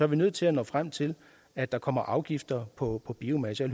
vi nødt til at nå frem til at der kommer afgifter på biomasse jeg